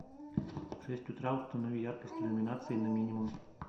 в шесть утра установи яркость иллюминации на минимум